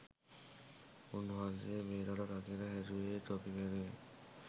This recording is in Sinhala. උන් වහන්සේ මේ රට රකින්න හැදුවෙ තොපි වෙනුවෙන්.